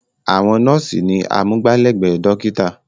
Àwọn nọ́ọ̀sí ni amúgbálẹ́gbẹ̀ẹ́ dọ́kítà.